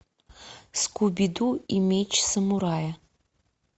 скуби ду и меч самурая